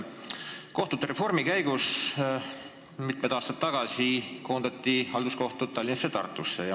Kohtute reformi käigus koondati mitu aastat tagasi halduskohtud Tallinnasse ja Tartusse.